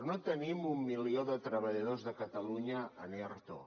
no tenim un milió de treballadors de catalunya en erto